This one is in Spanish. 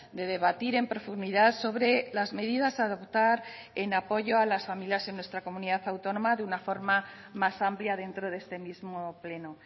de debatir en profundidad sobre las medidas a adoptar en apoyo a las familias en nuestra comunidad autónoma de una forma más amplia dentro de este mismo pleno